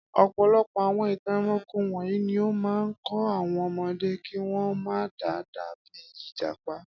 Ọ̀pọ̀lọpọ̀ àwọn ìtàn ẹranko wọ̀nyí ni ó máa ń kọ́ àwọn ọmọdé kí wọ́n má dàbí ìjàpá.